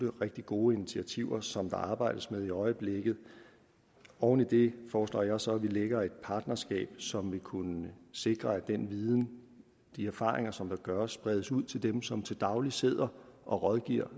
rigtig gode initiativer som der arbejdes med i øjeblikket oven i det foreslår jeg så at vi lægger et partnerskab som vil kunne sikre at den viden de erfaringer som der gøres spredes ud til dem som til daglig sidder og rådgiver